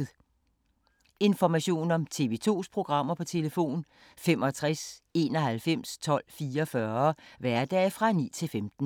Information om TV 2's programmer: 65 91 12 44, hverdage 9-15.